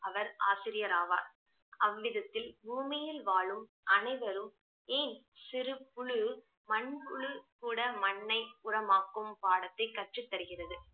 அவர் ஆசிரியர் ஆவார் அவ்விடத்தில் பூமியில் வாழும் அனைவரும் ஏன் சிறு புழு மண்புழு கூட மண்ணை உரமாக்கும் பாடத்தை கற்றுத் தருகிறது